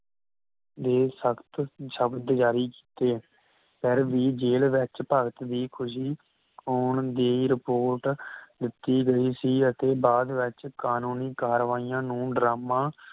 ਦੇ ਸਖਤ ਸ਼ਬਦ ਜਾਰੀ ਕੀਤੇ ਫਿਰ ਵੀ ਜੇਲ ਵਿਚ ਭਗਤ ਦੀ ਖੁਸ਼ੀ ਆਉਣ ਦੀ ਰਿਪੋਰਟ ਦਿੱਤੀ ਗਈ ਸੀ ਅਤੇ ਬਾਅਦ ਵਿਚ ਕਾਨੂੰਨੀ ਕਾਰਵਾਈਆਂ ਨੂੰ ਡਰਾਮਾ